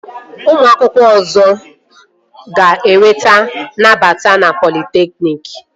Ụmụ akwụkwọ ọzọ ga-enweta nnabata na politekniki